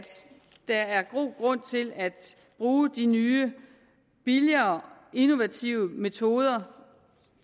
der er god grund til at bruge de nye billigere innovative metoder